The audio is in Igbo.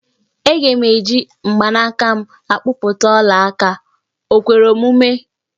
Aga m eji mgbanaka m akpụta ọla aka, o kwere omume?